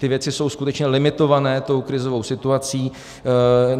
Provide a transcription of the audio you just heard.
Ty věci jsou skutečně limitované tou krizovou situací.